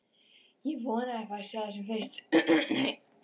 Ég vona að ég fái að sjá þig sem fyrst.